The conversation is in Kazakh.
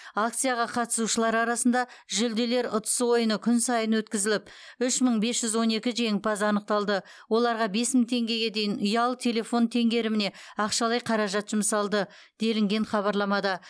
акцияға қатысушылар арасында жүлделер ұтысы ойыны күн сайын өткізіліп үш мың бес жүз он екі жеңімпаз анықталды оларға бес мың теңгеге дейін ұялы телефон теңгеріміне ақшалай қаражат жұмсалды делінген хабарламада